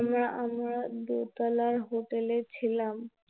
আমরা দোতলার Hotel এ ছিলাম